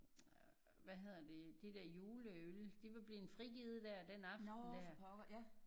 Hvad hedder det? De der juleøl de var blevet frigivet der den aften der